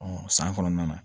san kɔnɔna na